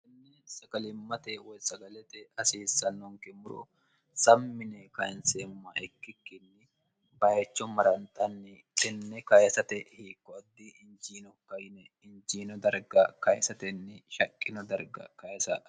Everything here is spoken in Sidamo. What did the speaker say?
ini saqalimmate woy sagalete hasiissannonke muro sammine kayinseemma ikkikkinni bayecho maranxanni qinni kayisate hiikkoaddi injiino kaine injiino darga kayisatenni shaqqino darga kayisa